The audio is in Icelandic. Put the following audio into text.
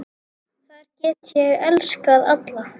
Þar get ég elskað alla.